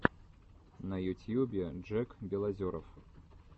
на ютьюбе джек белозеров